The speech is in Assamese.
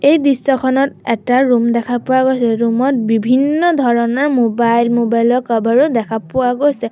এই দৃশ্যখনত এটা ৰুম দেখা পোৱা গৈছে ৰুমত বিভিন্ন ধৰণৰ মোবাইল মোবাইলৰ কাভাৰো দেখা পোৱা গৈছে।